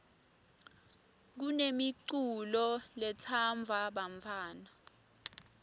kunemiculo letsandvwa bantfwana